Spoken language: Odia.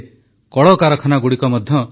ଶ୍ରମିକ ସ୍ପେଶାଲ ଟ୍ରେନ ଗୁଡ଼ିକ ଚାଲୁଛି